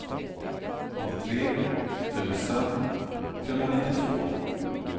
nittiotre tusen trehundranittiotvå